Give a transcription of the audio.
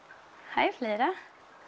hæ Flyðra